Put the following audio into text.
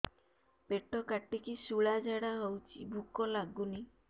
ପେଟ କାଟିକି ଶୂଳା ଝାଡ଼ା ହଉଚି ଭୁକ ଲାଗୁନି